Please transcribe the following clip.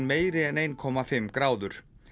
meiri en eitt komma fimm gráður